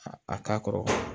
A a k'a kɔrɔ